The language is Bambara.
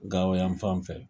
Gawo yan fan fɛ.